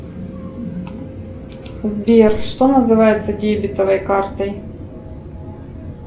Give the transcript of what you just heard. сбер что называется дебетовой картой